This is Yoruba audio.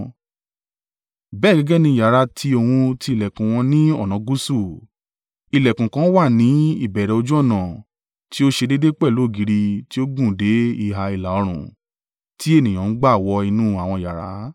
bẹ́ẹ̀ gẹ́gẹ́ ní yàrá tí òun ti ìlẹ̀kùn wọn ní ọ̀nà gúúsù, ìlẹ̀kùn kan wà ní ìbẹ̀rẹ̀ ojú ọ̀nà tí ó ṣe déédé pẹ̀lú ògiri tí ó gùn dé ìhà ìlà-oòrùn tí ènìyàn ń gba wọ inú àwọn yàrá.